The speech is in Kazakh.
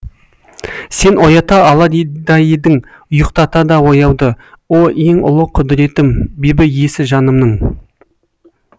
сен оята алар да едің ұйықтата да ояуды о ең ұлы құдіреттім бибі иесі жанымның